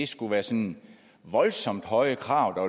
skulle være sådan voldsomt høje krav